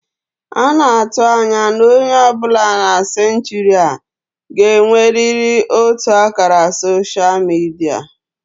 A na-atụ anya na onye ọ bụla na senchuri a ga-enwerịrị otu ákàrà soshal midia